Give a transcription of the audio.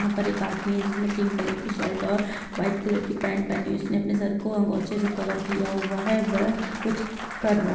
यहाँ पर एक आदमी है जिसने पिंक कलर की शर्ट और वाइट कलर की पेंट पहनी हुई है उसने अपने सर को अंगोछे से कवर किया हुआ है। वह कुछ कर रहा--